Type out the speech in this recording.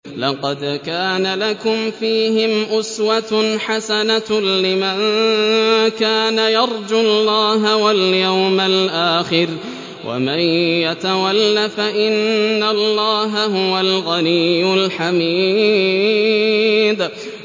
لَقَدْ كَانَ لَكُمْ فِيهِمْ أُسْوَةٌ حَسَنَةٌ لِّمَن كَانَ يَرْجُو اللَّهَ وَالْيَوْمَ الْآخِرَ ۚ وَمَن يَتَوَلَّ فَإِنَّ اللَّهَ هُوَ الْغَنِيُّ الْحَمِيدُ